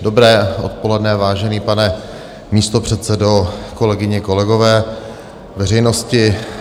Dobré odpoledne, vážený pane místopředsedo, kolegyně, kolegové, veřejnosti.